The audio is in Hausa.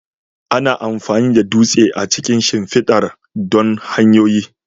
Ana amfani da dutse a cikin shimfidar don hanyoyi.